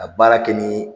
A baara kɛ ni